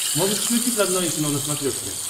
можешь включить родное кино на смотрешке